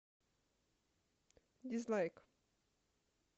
дизлайк